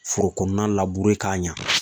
Foro kɔnɔna labure k'a ɲɛ